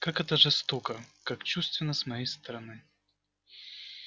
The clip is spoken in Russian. как это жестоко как чувственно с моей стороны